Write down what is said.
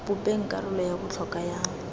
bopeng karolo ya botlhokwa ya